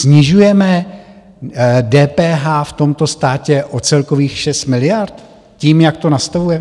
Snižujeme DPH v tomto státě o celkových 6 miliard tím, jak to nastavujeme?